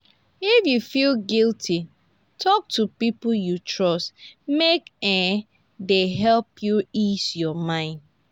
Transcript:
if yu feel guilty talk to pipo yu trust mek um dey help yu ease yur mind